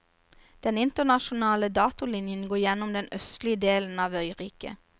Den internasjonale datolinjen går gjennom den østlige delen av øyriket.